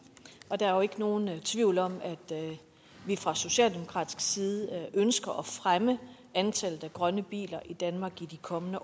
der er jo ikke nogen tvivl om at vi fra socialdemokratisk side ønsker at fremme antallet af grønne biler i danmark i de kommende